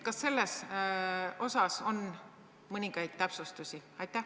Kas selles osas on mõningaid täpsustusi?